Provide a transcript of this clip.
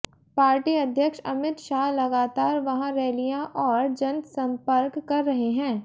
party अध्यक्ष अमित शाह लगातार वहां रैलियां और जनसंपर्क कर रहे हैं